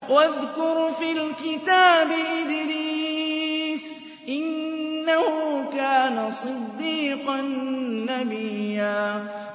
وَاذْكُرْ فِي الْكِتَابِ إِدْرِيسَ ۚ إِنَّهُ كَانَ صِدِّيقًا نَّبِيًّا